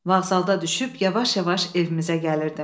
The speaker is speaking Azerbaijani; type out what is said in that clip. Vağzalda düşüb yavaş-yavaş evimizə gəlirdim.